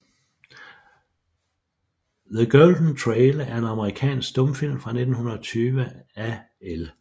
The Golden Trail er en amerikansk stumfilm fra 1920 af L